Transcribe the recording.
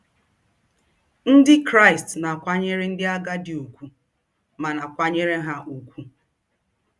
Ndị Kraịst na-akwanyere ndị agadi ùgwù ma na-akwanyere ha ùgwù